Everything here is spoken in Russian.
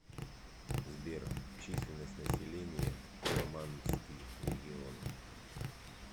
сбер численность населения фламандский регион